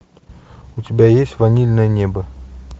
у тебя есть ванильное небо